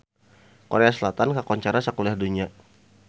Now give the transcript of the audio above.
Korea Selatan kakoncara sakuliah dunya